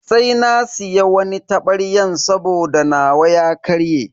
Sai na siya wani tabaryan saboda nawa ya karye.